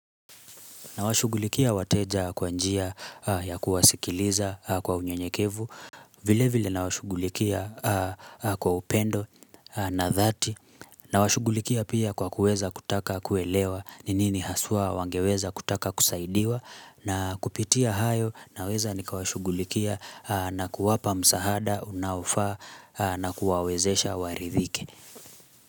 Nawashugulikia wateja kwa njia ya kuwasikiliza kwa unyenyekevu, vile vile nawashugulikia kwa upendo na dhati, nawashugulikia pia kwa kuweza kutaka kuelewa, ni nini haswa wangeweza kutaka kusaidiwa, na kupitia hayo, naweza nikawashugulikia na kuwapa msahada, unaofaa, na kuwawezesha waridhike.